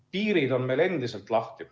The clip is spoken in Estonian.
Piirid on meil endiselt lahti.